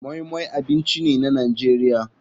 Moi moi abinci ne na nigeria.